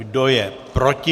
Kdo je proti?